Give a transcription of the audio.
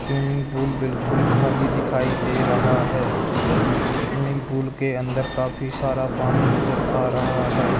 Swimming pool बिल्कुल खाली दिखाई दे रहा है स्विमिंग पूल के अंदर काफी सारा पानी नजर आ रहा है।